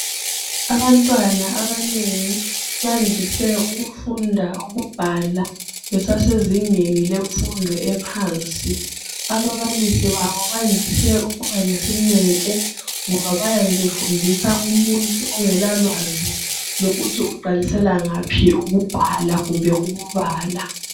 abantwana babanengi bandise ukufunda ukubhala besasezingeni lemfundo ephansi ababalisi babo bayandise ukuba lesineke ngoba bayabe befundisa umuntu ongela lwazi lokuthi uqalisela ngaphi ukubhala kumbe ukubala